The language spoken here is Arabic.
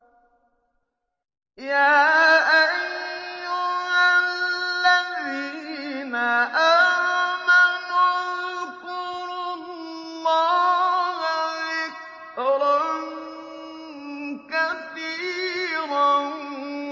يَا أَيُّهَا الَّذِينَ آمَنُوا اذْكُرُوا اللَّهَ ذِكْرًا كَثِيرًا